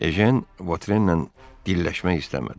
Ejen Votrenlə dilləşmək istəmədi.